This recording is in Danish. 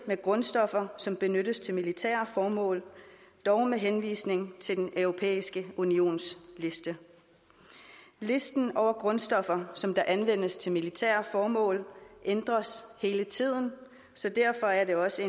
grundstoffer som benyttes til militære formål dog med henvisning til den europæiske unions liste listen over grundstoffer som anvendes til militære formål ændres hele tiden så derfor er det også